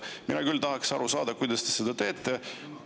Mina küll tahaks aru saada, kuidas te seda teete.